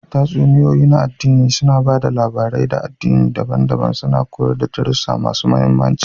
Tatsuniyoyi na aɗdini suna ba da labarai ɗaga aɗdinai daban-daban, suna koyar da darussa masu mahimmanci.